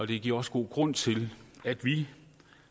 det giver også god grund til at vi